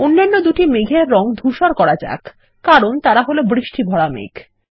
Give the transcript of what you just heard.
অন্যান্য দুটি মেঘের রঙ ধুসর করা যাক কারণ তারা হল বৃষ্টি ভরা মেঘ